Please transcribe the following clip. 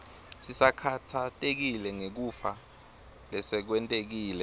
sisakhatsatekile ngekufa lesekwentekile